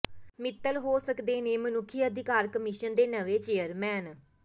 ਮਿੱਤਲ ਹੋ ਸਕਦੇ ਨੇ ਮਨੁੱਖੀ ਅਧਿਕਾਰ ਕਮਿਸ਼ਨ ਦੇ ਨਵੇਂ ਚੇਅਰਮੈਨ